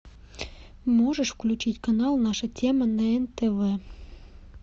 можешь включить канал наша тема на нтв